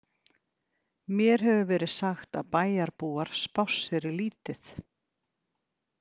Mér hefur verið sagt að bæjarbúar spásseri lítið?